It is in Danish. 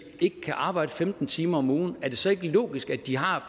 ikke kan arbejde femten timer om ugen er det så ikke logisk at de har